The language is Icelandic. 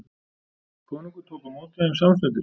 Konungur tók á móti þeim samstundis.